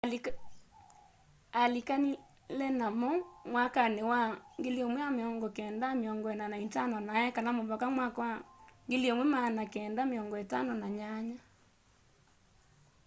alĩkanĩle namo mwakanĩ wa 1945 na ekala mũvaka mwaka wa 1958